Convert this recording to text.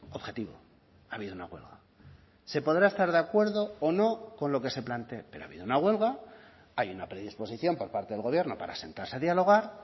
objetivo ha habido una huelga se podrá estar de acuerdo o no con lo que se plantee pero ha habido una huelga hay una predisposición por parte del gobierno para sentarse a dialogar